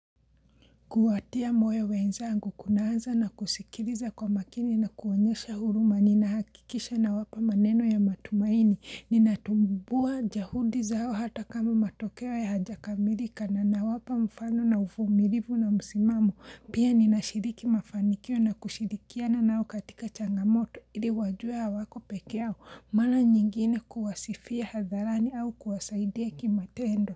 Kuwatia moyo wenzangu, kunaanza na kusikiriza kwa makini na kuonyesha huruma, ninahakikisha nawapa maneno ya matumaini, ninatambua juhudi zao hata kama matokeo yao hajakamilika na nawapa mfano na ufumilivu na msimamo, pia ninashiriki mafanikio na kushirikiana na au katika changamoto, ili wajua hawako pekee au, mala nyingine kuwasifia hadharani au kuwasaidia kimatendo.